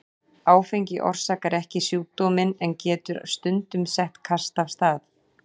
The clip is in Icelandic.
Áfengi orsakar ekki sjúkdóminn en getur stundum sett kast af stað.